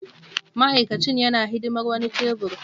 Ma'aikacin yana hidimar wani tebur.